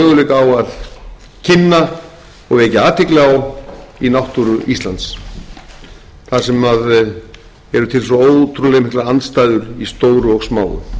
eiga möguleika á að kynna og vekja athygli á í náttúru íslands þar sem eru til svo ótrúlega mikla andstæður í stóru og smáu